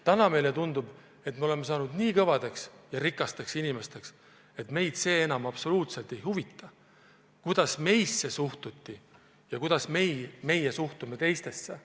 Täna tundub meile, et oleme saanud nii rikasteks inimesteks, et meid enam absoluutselt ei huvita, kuidas meisse suhtuti ja kuidas meie suhtume teistesse.